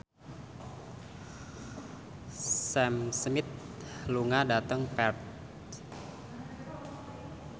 Sam Smith lunga dhateng Perth